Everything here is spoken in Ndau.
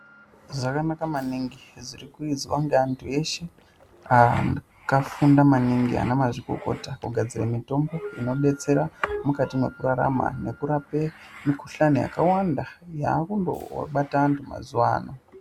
Zvakanaka maningi zviri kuizwa neanthu eshe akafunda maningi ana mazvikokota kugadzira mitombo inodetsera mukati mwekurarama nekurape mikuhlani yakawanda yaakundo bata anthu mazuwaano.